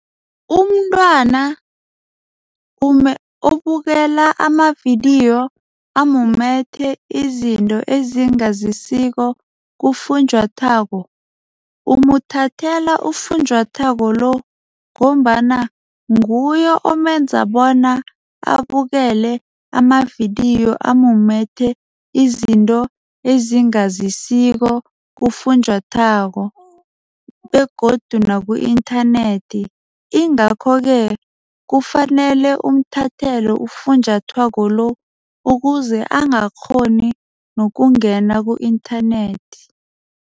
Umntwana obukela amavidiyo amumethe izinto ezingazisiko kufunjathwako. Umuthathela ufunjathwako lo ngombana nguye omenza bona abukele amavidiyo amumathe izinto ezingazisiko kufunjathwako begodu naku-internet. Ingakho-ke kufanele umthathele ufunjathwako lo ukuze angakghoni nokungena ku-internet.